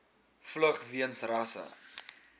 vlug weens rasse